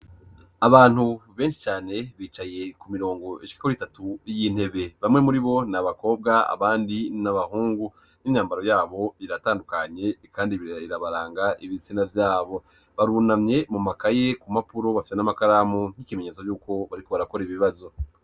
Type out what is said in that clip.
Abantu benshi cane bicaye ku mirongo ishika itatu y'intebe. Bamwe muri bo ni abakobwa abandi ni abahungu, n'imyambaro yabo biratandukanye, kandi birabaranga ibitsina vyabo. Barunamye mu makaye ku mpapuro, bafise n'amakaramu nk'ikimenyetso yuko bariko barakora ibibazo.